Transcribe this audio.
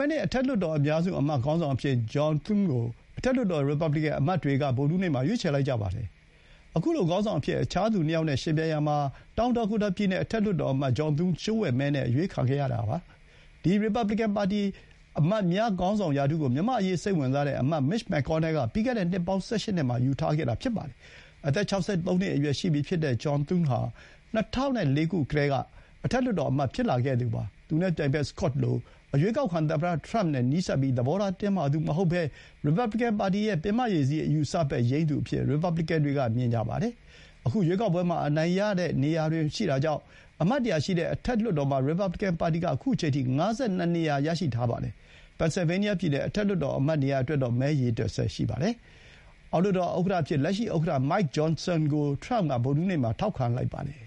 ယ့်နှစ် အထက်လွှတ်တော် အများစု အမတ်ခေါင်းဆောင်အဖြစ် John Thune ကို အထက်လွှတ်တော် ရီပါဘလီကန် အမတ်တွေက ဗုဒ္ဓဟူးနေ့မှာ ရွေးချယ်လိုက်ကြပါတယ်။ အခုလို ခေါင်းဆောင်အဖြစ် အခြားသူ ၂ ယောက်နဲ့ ယှဥ်ပြိုင်ရာမှာ တောင်ဒါကိုတာ ပြည်နယ် အထက်လွှတ်တော် အမတ် John Thune လျှို့ဝှက်မဲနဲ့ အရွေးခံခဲ့ရတာ ဖြစ်ပါတယ်။ ဒီရီပါဘလီကန် အမတ်များခေါင်းဆောင် ရာထူးကို မြန်မာ့အရေး စိတ်ဝင်စားတဲ့ အမတ် Mitch McConnell က ပြီးခဲ့တဲ့ နှစ်ပေါင်း ၁၈ နှစ်မှာ ယူထားခဲ့တာပါ။ အသက် ၆၃ နှစ်အရွယ်ရှိပြီဖြစ်တဲ့ ဂျွန်သွန်း ဟာ ၂၀၀၄ ကတည်းက အထက်လွှတ်တော် အမတ်ဖြစ်လာခဲ့သူပါ။ သူနဲ့ပြိုင်ဘက် Scott လို အရွေးကောက်ခံ သမ္မတ ထရမ့်နဲ့ နီးစပ်ပြီး သဘောထား တင်းမာသူမဟုတ်ဘဲ၊ ရီပါဘလီကန် ပါတီရဲ့ ပင်မရေစီး အယူအဆဘက်ယိမ်းသူအဖြစ် ရီပါဘလီကန်တွေက မြင်ကြပါတယ်။ အခု ရွေးကောက်ပွဲမှာ အနိုင်ရတဲ့နေရာတွေ ရှိတာကြောင့် အမတ် ၁၀၀ ရှိတဲ့ အထက်လွှတ်တော်မှာ ရီပါဘလီကန် ပါတီက အခုအချိန်အထိ ၅၂ နေရာ ရရှိထားပါတယ်။ ပင်န်ဆယ်ဗေးနီးယား ပြည်နယ် အထက်လွှတ်တော် အမတ်နေရာ အတွက်တော့ မဲရေတွက်ဆဲ ရှိပါသေးတယ်။ အောက်လွှတ်တော် ဥက္ကဋ္ဌအဖြစ် လက်ရှိ ဥက္ကဋ္ဌ Mike Johnson ကို ထရမ့်က ဗုဒ္ဓဟူးနေ့မှာ ထောက်ခံလိုက်ပါတယ်